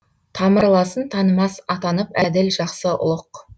тамырласын танымас атанып әділ жақсы ұлық